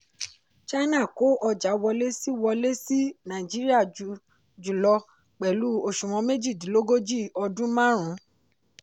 china kó ọjà wọlé sí wọlé sí nàìjíríà jùlọ pẹ̀lú òṣùwọ̀n méjìdínlógojì ọdún marun.